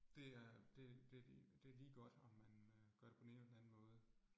Det er det det det lige godt, om man øh gør det på den ene eller den anden måde